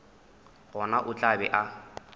gona o tla be a